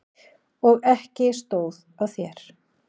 Og ekki stóð á þér!